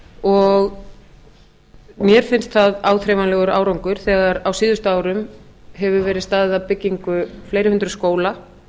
og mér finnst það áþreifanlegur þegar á síðustu árum hefur verið staðið að byggingu fleiri hundruð skóla